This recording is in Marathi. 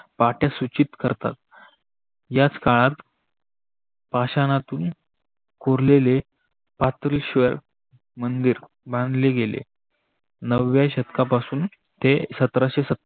पाट्या सूची करतात याच काळात पाषाणातून कोरलेले पातरीश्वर मंदीर बांधले गेले. नव्या शतकापासून ते सत्राशे